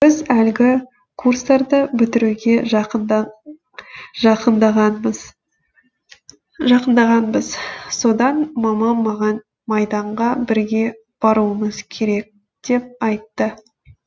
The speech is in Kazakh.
біз әлгі курстарды бітіруге жақындағанбыз содан мамам маған майданға бірге баруымыз керек деп айтты